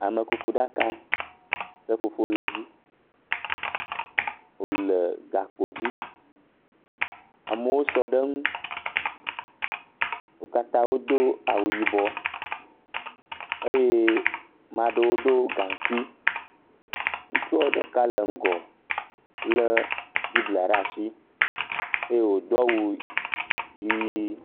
Amekuku ɛaka seƒoƒo le edzi wole gakpo dzi. Amewo sɔ ɖe eŋu. wo katã wodo awu yibɔ eye ame aɖewo ɖo gaŋkui. Ŋutsua ɖeka le ŋgɔ le bible ɖe asi eye wodo awu ʋi.